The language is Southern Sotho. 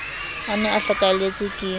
a ne a hlokahelletswe ke